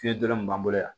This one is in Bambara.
Fiɲɛ dɔrɔn de b'an bolo yan